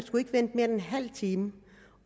end en halv time